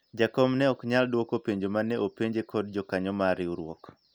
jakom ne ok nyal dwoko penjo mane openje kod jokanyo mar riwruok